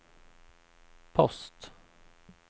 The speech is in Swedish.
post